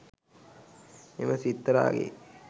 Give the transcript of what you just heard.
එම සිත්තරාගේ